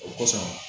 O kɔsɔn